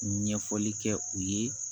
Ɲɛfɔli kɛ u ye